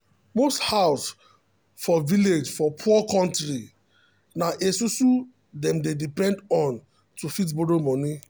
most house for village for poor kontri na esusu dem dey depend on to fit borrow money